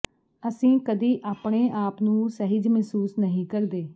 ਅਸੀਂ ਕਦੀ ਆਪਣੇ ਆਪ ਨੂੰ ਸਹਿਜ ਮਹਿਸੂਸ ਨਹੀਂ ਕਰਦੇ